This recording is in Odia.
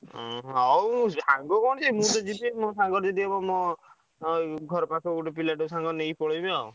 ଉଁ ହଉ ସାଙ୍ଗ କଣ ମୁଁ ତ ଯିବି ମୋ ସାଙ୍ଗରେ ଯଦି ହବ ମୋ ଅଁ ଘର ପାଖରୁ ଗୋଟେ ପିଲାଟେ ସାଙ୍ଗରେ ନେଇ ପଳେଇବି ଆଉ।